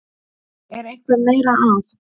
Er eitthvað meira að?